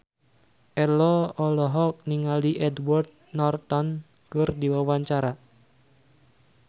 Ello olohok ningali Edward Norton keur diwawancara